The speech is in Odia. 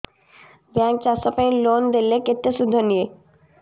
ବ୍ୟାଙ୍କ୍ ଚାଷ ପାଇଁ ଲୋନ୍ ଦେଲେ କେତେ ସୁଧ ନିଏ